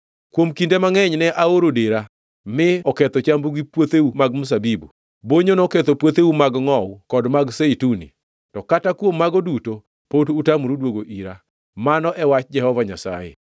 “Kuom kinde mangʼeny ne aoro dera mi oketho chambu gi puotheu mag mzabibu. Bonyo noketho puotheu mag ngʼowu kod mag zeituni, to kata kuom mago duto pod utamoru duogo ira,” mano e wach Jehova Nyasaye.